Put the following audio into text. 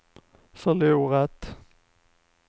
förlorat